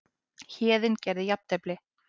Héðinn gerði jafntefli